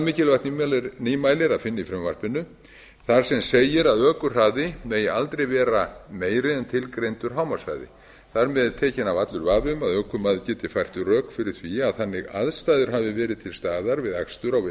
mikilvægt nýmæli er að finna í frumvarpinu þar sem segir að ökuhraði megi aldrei vera meiri en tilgreindur hámarkshraði þar með er tekinn af allur vafi um að ökumaður geti fært rök fyrir því að þannig aðstæður hafi verið til staðar við akstur á